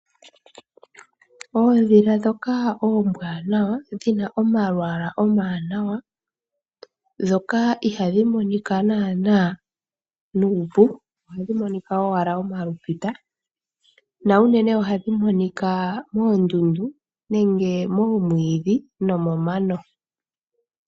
Oondhila ndhoka oombwanawa dhina omalwala omawanwa ndhoka ihadhi monika nuupu ohadhi monika owala omaluita na unene ohadhi monika moondundu nenge moomwiidhi nomomano.